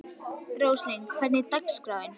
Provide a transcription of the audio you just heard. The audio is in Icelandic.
Róslind, hvernig er dagskráin?